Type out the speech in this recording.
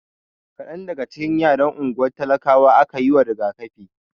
Kadan daga cikin yaran unguwar talakawan aka yiwa rigakafi.